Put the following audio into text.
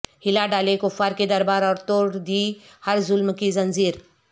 ہلا ڈالے کفار کے دربار اور توڑ دی ہر ظلم کی زنجیر